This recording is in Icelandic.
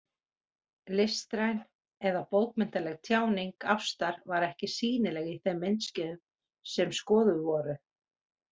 Listræn eða bókmenntaleg tjáning ástar var ekki sýnileg í þeim myndskeiðum, sem skoðuð voru.